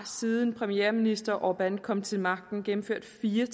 siden premierminister orbán kom til magten gennemført fire